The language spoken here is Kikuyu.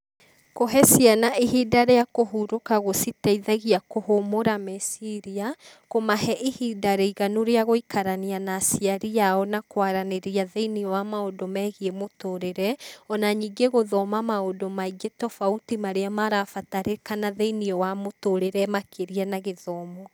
Kũhe ciana ihinda rĩa kũhurũka gũcitaithagia kũhũmũra meciria, kũmahe ihinda rĩiganu rĩa gũikarania na aciari ao na kwaranĩria thĩinĩ wa maũndũ megiĩ mũtũrĩre, ona ningĩ gũthoma maũndũ maingĩ tobauti marĩa marabatarĩka thĩinĩ wa mũtũrĩre makĩria na gĩthomo.